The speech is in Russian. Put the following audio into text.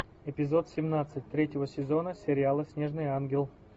эпизод семнадцать третьего сезона сериала снежный ангел